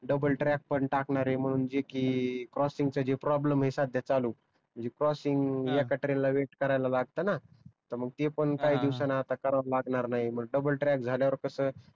double track पण टाकणार आहे म्हणून जे कि क्रॉसिंग साठी प्रोब्लेम आहे सध्या चालू म्हणजे क्रॉसिंग एका ट्रेन ला वेट करायला लागत ना त मग तेपण काही दिवसान आता कराव लागणार नाही मग डबल ट्रॅक झाल्यावर कस